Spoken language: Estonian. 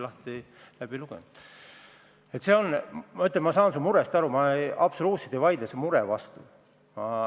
Ma ütlen veel kord, et ma saan su murest aru ja ma absoluutselt ei vaidle sellele vastu.